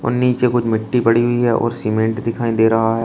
और नीचे कुछ मिट्टी पड़ी हुई है और सीमेंट दिखाई दे रहा है।